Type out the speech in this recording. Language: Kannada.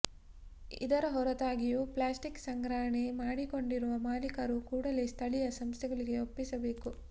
ಇದರ ಹೊರತಾಗಿಯೂ ಪ್ಲಾಸ್ಟಿಕ್ ಸಂಗ್ರಹಣೆ ಮಾಡಿಕೊಂಡಿರುವ ಮಾಲೀಕರು ಕೂಡಲೇ ಸ್ಥಳೀಯ ಸಂಸ್ಥೆಗಳಿಗೆ ಒಪ್ಪಿಸಬೇಕು